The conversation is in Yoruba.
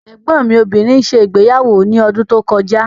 Ẹ̀gbọ́n mi obìnrin ṣe ìgbéyàwó ní ọdún tó kọjá.